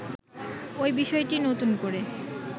ঐ বিষয়টি নূতন করে